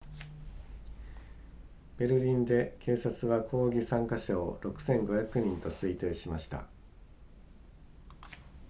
ベルリンで警察は抗議参加者を 6,500 人と推定しました